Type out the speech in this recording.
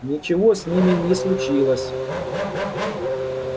ничего с ними не случилось